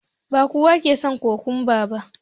Ba kowa ke son kokwamba ba